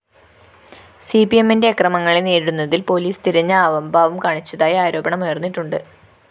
സിപിഎമ്മിന്റെ അക്രമങ്ങളെ നേരിടുന്നതില്‍ പോലീസ് തിരഞ്ഞ അവംഭാവം കാണിച്ചതായി ആരോപണമുയര്‍ന്നിട്ടുണ്ട്